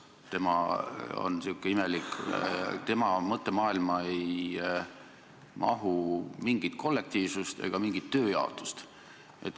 Tema on sihuke imelik, et tema mõttemaailma ei mahu mingit kollektiivsust ega mingit tööjaotust.